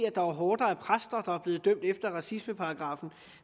at der er horder af præster der er blevet dømt efter racismeparagraffen